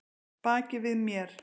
Baki við mér?